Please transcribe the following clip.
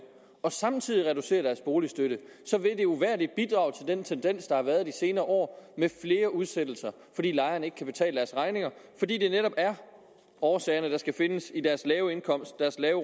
og samtidig reducerer deres boligstøtte så vil det uvægerlig bidrage til den tendens der har været de senere år med flere udsættelser fordi lejerne ikke kan betale deres regninger fordi årsagerne netop skal findes i deres lave indkomst deres lave